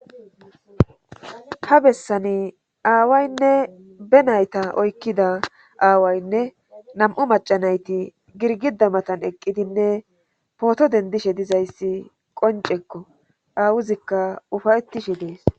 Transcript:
ha bessani aawaynne be nayta oykkida aawaynne nam7u macanayti girgida matan eqqidinne pooto dendishe dizayssi qoncekko awuzikka ufayettishe dees